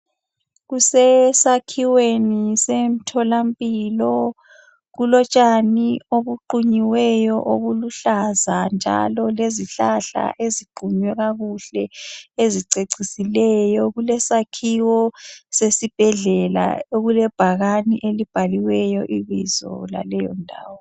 Kusesakhiweni semtholampilo kulotshani obuqunyiweyo obuluhlaza njalo lezihlahla eziqunywe kakuhle ezicecisileyo. Kulesakhiwo sesibhedlela okulebhakani elibhaliweyo ibizo laleyondawo.